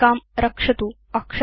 सञ्चिकां रक्षतु